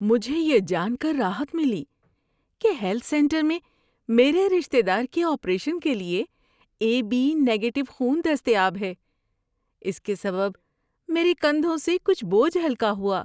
مجھے یہ جان کر راحت ملی کہ ہیلتھ سنٹر میں میرے رشتے دار کے آپریشن کے لیے اے بی نگیٹو خون دستیاب ہے۔ اس کے سبب میرے کندھوں سے کچھ بوجھ ہلکا ہوا۔